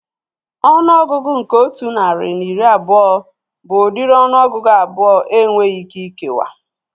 Ọnụọgụgụ nke otu narị na iri abụọ bụ udiri ọnụọgụgụ abụọ enweghị ike ikewa